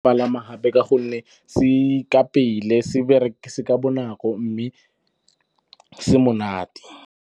Palama gape ka gonne se ka pele, se ka bonako mme se monate.